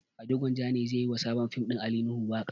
Ado gwanjan ne zai yi wa sabon fim ɗin ali nuhu waƙa